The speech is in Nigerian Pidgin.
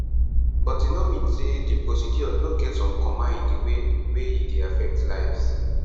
but e no mean say di procedures no get some comma in di way wey e dey affect lives